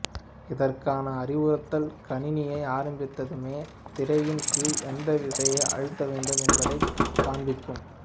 இதற்கான அறிவுறுத்தல் கணினியை ஆரம்பித்த்துமே திரையின் கீழ் எந்த விசையை அழுத்த வேண்டும் என்பதைக் காண்பிக்கும்